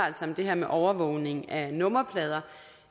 om det her med overvågning af nummerplader